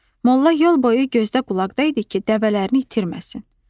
Molla yol boyu gözdə-qulaqda idi ki, dəvələrini itirməsin.